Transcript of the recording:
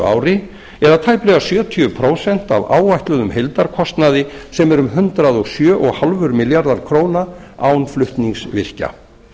ári eða tæplega sjötíu prósent af áætluðum heildarkostnaði sem er um hundrað og sjö komma fimm milljarðar króna án flutningsvirkja